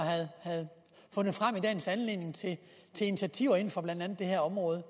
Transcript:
havde fundet frem i dagens anledning til initiativer inden for blandt andet det her område